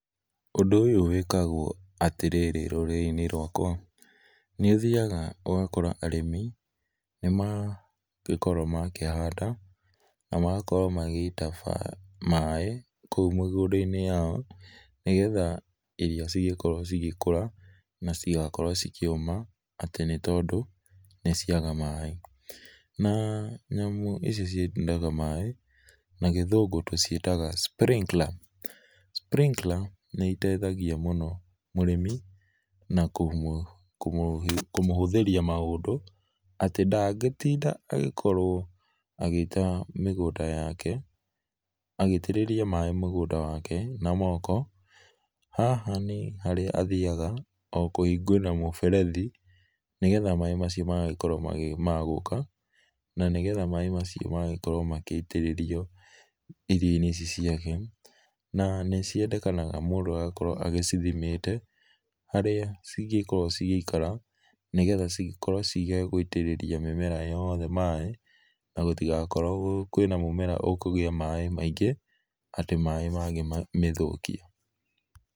Undũ ũyũ wĩkagwo atĩ rĩrĩ rũrĩrĩ inĩ rwakwa nĩ ũthĩaga ũgakora arĩmi nĩmagĩkorwo makĩhanada na magakorwo magĩita maĩ koũ mĩgũnda inĩ yao nĩ getha irio cigĩkorwo cigĩkũra na citigakorwo cikĩũma atĩ nĩ tondũ nĩ ciaga maĩ, na nyamũ ici ciitaga maĩ na gĩthũngũ tũcietaga sprinkler. Sprinkler nĩ itethagĩa mũno mũrĩmi na kũmũhũthĩrĩa maũndũ atĩ ndagĩtĩnda agĩkorwo agĩita mĩgũnda yake agĩ itĩrĩra maĩ mũgũnda wake na moko, haha nĩ harĩa athĩaga o kũhĩngũrĩra mũberethĩ nĩgetha maĩ macio magagĩkorwo me ma gũka na nĩ getha maĩ macio magagĩkorwo magĩitĩrĩrĩo irio inĩ ici ciake na ciendekanaga mũndũ agagĩkorwo agĩcithĩmĩte, harĩa cingekorwo cigeikara nĩ getha cigekorwo cia gũĩtĩrĩria mĩmera yothe maĩ na gũtĩgakorwo kwĩna mũmera ũkũgĩa maĩ maĩngĩ atĩ maĩ mangĩmĩthũkĩa.